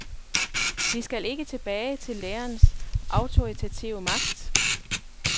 Vi skal ikke tilbage til lærerens autoritative magt.